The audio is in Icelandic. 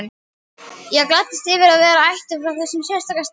Ég gladdist yfir að vera ættuð frá þessum sérstaka stað.